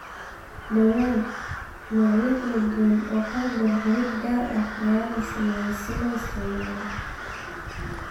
Dhawaan, noocyo kala duwan oo qalab dhar-xidhid gaar ah ayaa la sameeyay oo la isticmaalay.